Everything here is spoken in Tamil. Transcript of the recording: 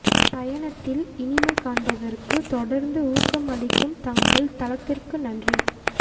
பயணத்தில் இனிமை காண்பதற்கு தொடர்ந்து ஊக்கம் அளிக்கும் தங்கள் தளத்திற்கு நன்றி